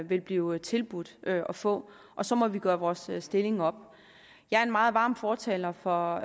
vil blive tilbudt at få og så må vi gøre vores stilling op jeg er en meget varm fortaler for